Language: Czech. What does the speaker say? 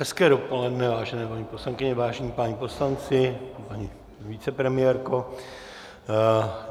Hezké dopoledne, vážené paní poslankyně, vážení páni poslanci, paní vicepremiérko.